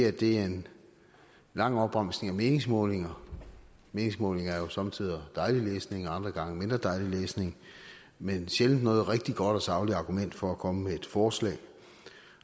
at det er en lang opremsning af meningsmålinger meningsmålinger er jo somme tider dejlig læsning og andre gange mindre dejlig læsning men sjældent noget rigtig godt og sagligt argument for at komme med et forslag